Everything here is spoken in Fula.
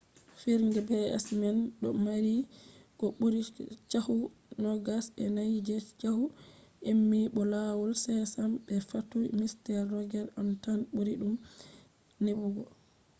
fijirde pbs man do mari ko buri chahu nogas e nai je chahu emmy bo lawol sesame be fattude mister roger on tan buri dum nebugo